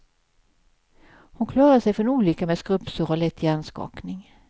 Hon klarade sig ifrån olyckan med skrubbsår och lätt hjärnskakning.